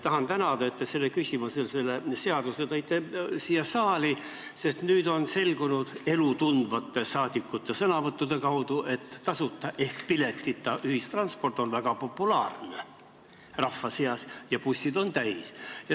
Tahan tänada, et te selle seaduse siia saali tõite, sest nüüd on selgunud, elu tundvate rahvasaadikute sõnavõttude kaudu, et tasuta ehk piletita ühistransport on väga populaarne rahva seas ja bussid on täis.